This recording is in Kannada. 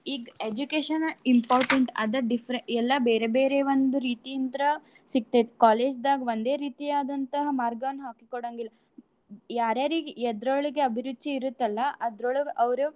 ಈಗ್ education important ಅದ differ~ ಎಲ್ಲಾ ಬೇರೇ ಬೇರೇ ಒಂದ್ ರೀತೀಂತ್ರ ಸಿಕ್ತೇತಿ college ದಾಗ್ ಒಂದೇ ರೀತಿಯಾದಂತ್ಹ ಮಾರ್ಗಾನ್ ಹಾಕಿ ಕೋಡಂಗಿಲ್ಲ. ಯಾರ್ ಯಾರಿಗ್ಗೆ ಎದ್ರೋಳ್ಗೆ ಅಭಿರುಚಿ ಇರುತ್ತಲ್ಲ ಅದ್ರೊಳ್ಗ್ ಅವ್ರು.